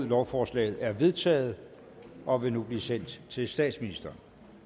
lovforslaget er vedtaget og vil nu blive sendt til statsministeren